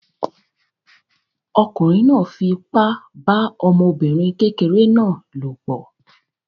Ọkùnrin náà fipá bá ọmọbìnrin kékeré náà lòpọ̀